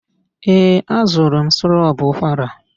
Ee, azụrụ m sirop ụkwara.